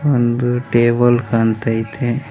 ಒಂದು ಟೇಬಲ್ ಕಾಣ್ತೈತೆ.